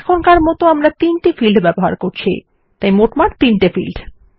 এখনকার মত আমরা 3 ফিল্ডস ব্যবহার করছি তাই মোটমাট 3 ফিল্ডস